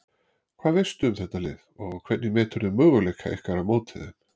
Hvað veistu um þetta lið og hvernig meturðu möguleika ykkar á móti þeim?